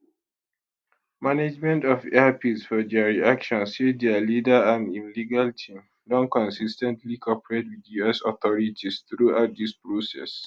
management of air peace for dia reaction say dia leader and im legal team don consis ten tly cooperate wit us authorities throughout dis process